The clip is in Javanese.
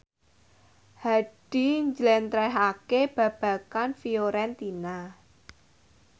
Hadi njlentrehake babagan Fiorentina